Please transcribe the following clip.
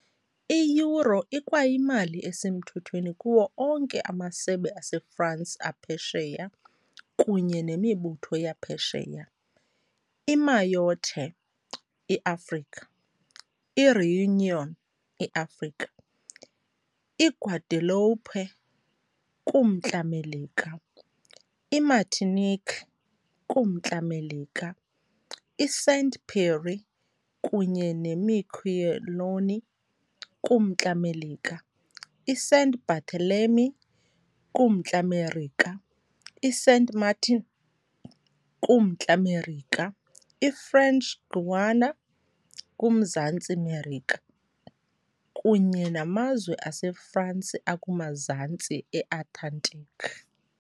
I-euro ikwayimali esemthethweni kuwo onke amasebe aseFransi aphesheya kunye nemibutho yaphesheya, iMayotte, iAfrika, iRéunion, iAfrika, iGuadeloupe, kuMntla Melika, iMartinique, kuMntla Melika, iSaint-Pierre kunye neMiquelon, kuMntla Melika, iSaint Barthélemy, kuMntla Merika, iSaint-Martin, kuMntla Merika, iFrench Guiana, kuMzantsi Merika, kunye naMazwe aseFransi akumaZantsi neAntarctic.